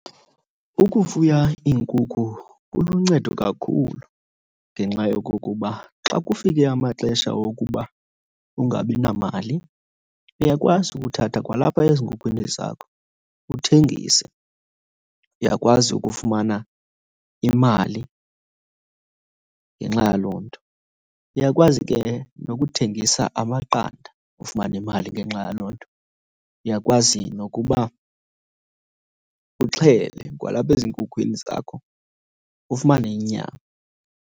Ukufuya iinkukhu kuluncedo kakhulu ngenxa yokokuba xa kufike amaxesha okuba ungabi namali uyakwazi ukuthatha kwalapha ezinkhukhwini zakho uthengise. Uyakwazi ukufumana imali ngenxa yaloo nto. Uyakwazi ke nokuthengisa amaqanda ufumane imali ngenxa yaloo nto. Uyakwazi nokuba uxhele kwalapha ezinkhukhwini zakho ufumane inyama.